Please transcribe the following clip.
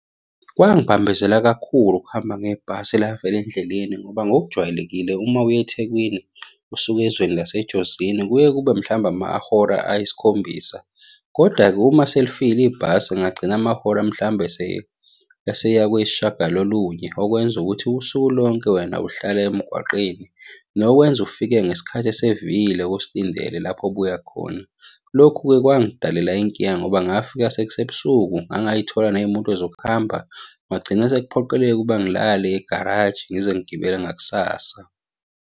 Kwangibambezela kakhulu ukuhamba ngebhasi elafela endleleni ngoba ngokujwayelekile uma uyeThekwini usuka ezweni laseJozini kuye kube mhlawumbe amahora ayisikhombisa, koda-ke uma selifile ibhasi kungagcina amahora mhlawumbe eseya kwesishiyagalolunye, okwenza ukuthi usuku lonke wena uhlale emgwaqeni. Nokwenza ufike ngesikhathi esevile kosilindele lapho obuya khona. Lokhu-ke kwangidalela inkinga ngoba ngafika sekusebusuku ngangay'thola ney'moto zokuhamba. Kwagcina sekuphoqeleka ukuba ngilale egaraji, ngize ngigibele ngakusasa.